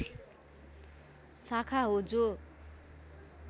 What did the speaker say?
शाखा हो जो